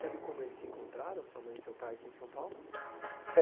Sabe como eles se encontraram, sua mãe e seu pai, aqui em São Paulo?